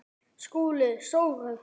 SKÚLI: Sóru?